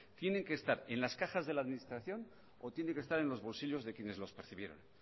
tiene que estar en las cajas de la administración o tiene que estar en los bolsillos de quienes los percibieron